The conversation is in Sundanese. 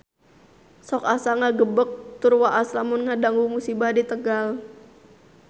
Sok asa ngagebeg tur waas lamun ngadangu musibah di Tegal